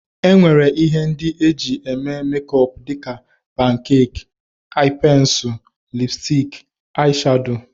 E nwere ihe ndị e jị eme mekọp dịka, pankek, aị pensil, lipstik, aị shado.